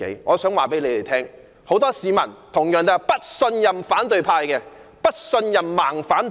我想告訴他們，很多市民同樣不信任反對派、"盲反派"。